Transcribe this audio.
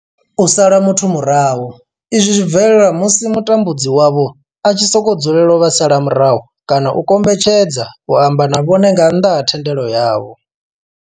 U sala muthu murahu, izwi zwi bvelela musi mutambudzi wavho a tshi sokou dzulela u vha sala murahu kana a kombetshedza u amba na vhone nga nnḓa ha thendelo yavho.